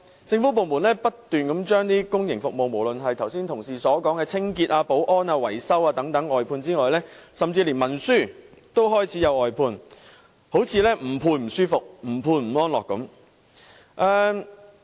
政府部門不斷將公營服務外判，除了剛才同事所說的清潔、保安、維修等服務外，甚至連文書工作也開始外判，好像不外判便不舒服，不外判便不安樂般。